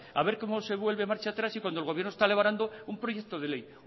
a ver como se vuelve marcha atrás y cuando el gobierno está elaborando un proyecto de ley